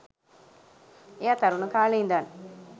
එයා තරුණ කාලේ ඉඳන්